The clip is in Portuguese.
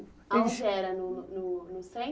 Eles... Aonde era no no no